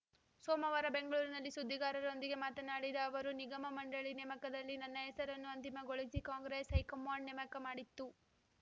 ಸೋಮವಾರ ಬೆಂಗಳೂರಿನಲ್ಲಿ ಸುದ್ದಿಗಾರರೊಂದಿಗೆ ಮಾತನಾಡಿದ ಅವರು ನಿಗಮ ಮಂಡಳಿ ನೇಮಕದಲ್ಲಿ ನನ್ನ ಹೆಸರನ್ನು ಅಂತಿಮಗೊಳಿಸಿ ಕಾಂಗ್ರೆಸ್‌ ಹೈಕಮಾಂಡ್‌ ನೇಮಕ ಮಾಡಿತ್ತು